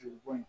Jeli bo yen